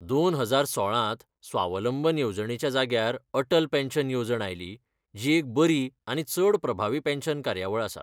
दोन हजार सोळांत स्वावलंबन येवजणेच्या जाग्यार अटल पॅन्शन येवजण आयली, जी एक बरी आनी चड प्रभावी पॅन्शन कार्यावळ आसा.